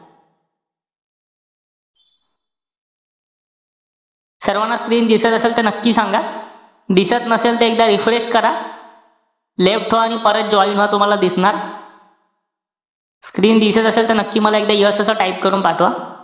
सर्वाना screen दिसत असेल त नक्की सांगा. दिसत नसेल त screen reefresh करा. left व्हा आणि परत join व्हा. तुम्हाला दिसणार. screen दिसत असेल, त नक्की मला एकदा yes असं type करून पाठवा.